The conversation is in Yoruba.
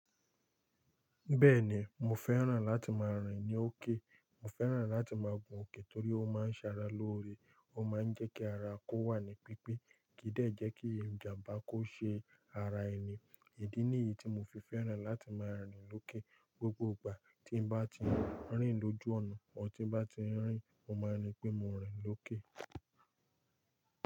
Bẹ́ẹ̀ni, mo fẹ́ràn láti máa rìn ní òkè. Mo fẹ́ràn láti máa gun òkè torí ó máa ń ṣara lóore, ó máa ń jẹ́ kí ara kó wà ní pípé, kídẹ́ jẹ́ kí ìjàmbá kó ṣe ara ẹni. Idi ni yí tí mo fi fẹ́ràn láti máa rìnrin lókè. Gbogbo ìgbà tí n bá ti ń rìn lójú ọ̀nà, ọ̀ tí n bá ti ń rìn, mo máa ní pé mo rìn lókè.